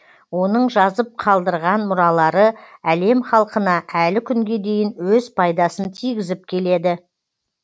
оның жазып қалдырған мұралары әлем халқына әлі күнге дейін өз пайдасын тигізіп келеді